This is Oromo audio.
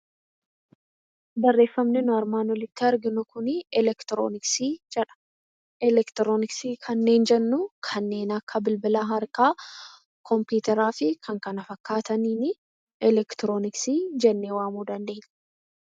Barreeffamni nu armaan olitti arginu kunii 'elektirooniksii' jedha. Elektirooniksii kanneen jennu kanneen akka bilbila harkaa, kompiitaraa fi kan kana fakkaataniini elektirooniksii jennee waamuu dandeenya.